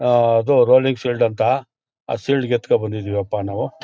ಆ ಅದು rolling shield ಅಂತ ಆ ಶೀಲ್ಡ್ ಎತ್ಕೊಂಡು ಬಂದಿದ್ದೀವಪ್ಪಾ ನಾವು.